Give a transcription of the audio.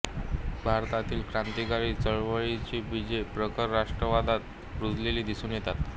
भारतातील क्रांतिकारी चळवळीची बीजे प्रखर राष्ट्र्वादात रुजलेली दिसून येतात